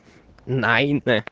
найн э